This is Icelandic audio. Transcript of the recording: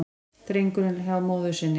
Drengurinn hjá móður sinni